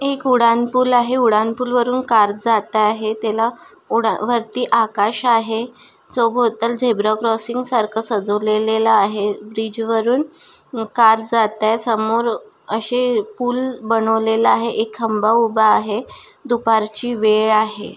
एक उडान पूल आहे उडान पूल वरुन कार जात आहे त्याला उडान वरती आकाश आहे जो भोवताल झेब्रा क्रॉसिंग सारख सजवलेलेला आहे ब्रिज वरुन कार जातय समोर अशे पूल बनवलेला आहे एक खंबा उभा आहे दुपार ची वेळ आहे.